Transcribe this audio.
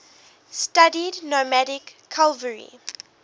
studied nomadic cavalry